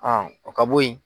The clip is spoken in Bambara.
o ka bo yen.